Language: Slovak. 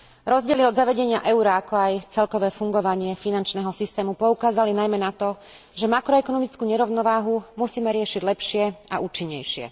Rozdiely od zavedenia eura, ako aj celkové fungovanie finančného systému poukázali najmä na to, že makroekonomickú nerovnováhu musíme riešiť lepšie a účinnejšie.